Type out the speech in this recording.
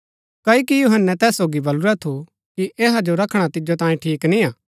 पर जैहणै हेरोदेस रा जन्मदिन आ ता हेरोदियास री कुल्ळी हेरोदेस रै जन्मदिना रै जशना मन्ज नची करी हेरोदेस जो खुश करू